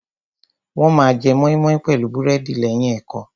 Wọ́n ma jẹ mọ́ímọ́í pẹ̀lú búrẹ́dì lẹ́yìn ẹ̀kọ́.